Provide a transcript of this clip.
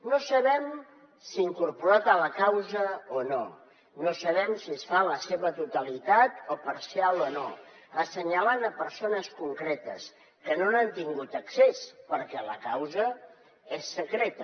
no sabem si incorporat a la causa o no no sabem si es fa en la seva totalitat o parcial assenyalant persones concretes que no hi han tingut accés perquè la causa és secreta